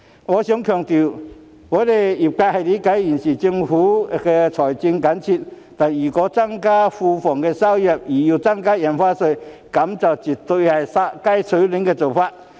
我想強調，業界理解政府現時財政緊絀，但如果為了增加庫房收入而增加印花稅，這絕對是"殺雞取卵"的做法。